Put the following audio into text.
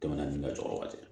Tɛmɛnen ka jɔ ka se